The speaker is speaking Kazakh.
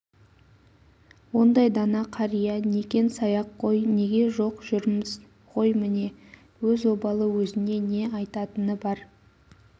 ондай дана қария некен-саяқ қой неге жоқ жүрміз ғой міне өз обалы өзіне не аяйтыны бар